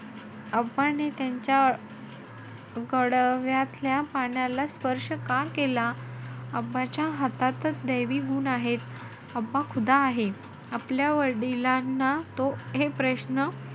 ने त्यांच्या गडव्यातल्या पाण्याला स्पर्श का केला? हातातचं दैवी गुण आहे. आहे. आपल्या वडिलांना तो हे प्रश्न,